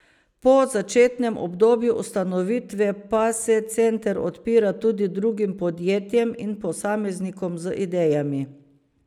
Po začetnem obdobju ustanovitve pa se center odpira tudi drugim podjetjem in posameznikom z idejami.